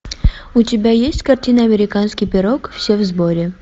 у тебя есть картина американский пирог все в сборе